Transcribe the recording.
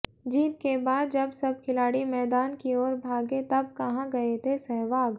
जीत के बाद जब सब खिलाड़ी मैदान की ओर भागे तब कहां गए थे सहवाग